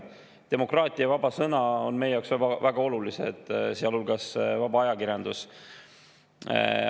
Demokraatia ja vaba sõna, sealhulgas vaba ajakirjandus, on meie jaoks väga olulised.